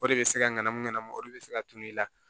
O de bɛ se ka ŋanamu ŋanamu o de be se ka tunun i la